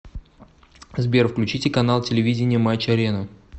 сбер включите канал телевидения матч арена